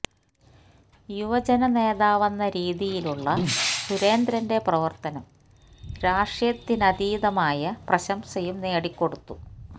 യുവജന നേതാവെന്ന രീതിയിലുള്ള സുരേന്ദ്രന്റെ പ്രവര്ത്തനം രാഷ്ട്രീയത്തിനധീതമായ പ്രശംസയും നേടി കൊടുത്തു